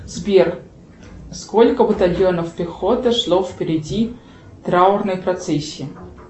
сбер сколько батальонов пехоты шло впереди траурной процессии